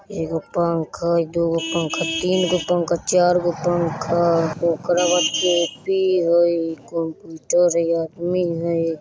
एगो पंखा दु गो पंखा तीनगो पंखा चार गो पंखा ओकरा बाद कॉपी हय कंप्यूटर हय आदमी हय।